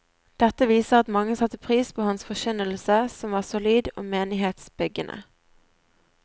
Dette viser at mange satte pris på hans forkynnelse, som var solid og menighetsbyggende.